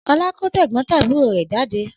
Ọlá kó tẹ̀gbọ́ntàbúrò rẹ̀ jáde.